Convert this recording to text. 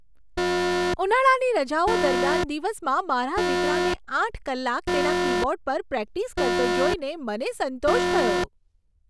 ઉનાળાની રજાઓ દરમિયાન દિવસમાં મારા દીકરાને આઠ કલાક તેના કીબોર્ડ પર પ્રેક્ટિસ કરતો જોઈને મને સંતોષ થયો.